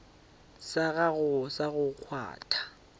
sa gago sa go kgwatha